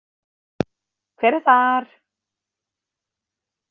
Hver er þar?